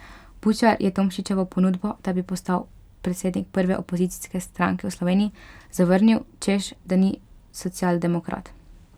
Bučar je Tomšičevo ponudbo, da bi postal predsednik prve opozicijske stranke v Sloveniji, zavrnil, češ da ni socialdemokrat.